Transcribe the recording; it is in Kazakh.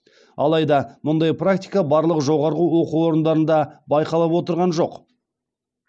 алайда мұндай практика барлық жоғары оқу орындарында байқалып отырған жоқ